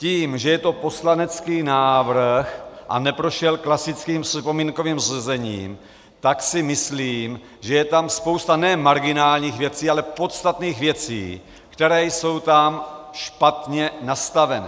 Tím, že je to poslanecký návrh a neprošel klasickým připomínkovým řízením, tak si myslím, že je tam spousta ne marginálních věcí, ale podstatných věcí, které jsou tam špatně nastavené.